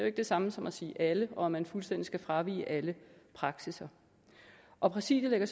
ikke det samme som at sige alle og at man fuldstændig skal fravige alle praksisser og præsidiet lægger